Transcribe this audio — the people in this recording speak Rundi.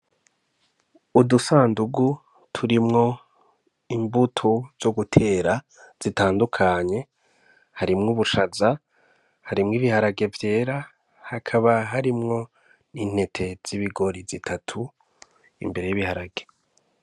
Udusandugu turimwo imbuto zo gutera zitandukanye harimwo ubushaza harimwo ibiharage vyera hakaba harimwo n'intete z'ibigori zitatu imbere ybiharage.